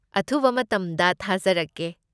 ꯑꯊꯨꯕ ꯃꯇꯝꯗ ꯊꯥꯖꯔꯛꯀꯦ!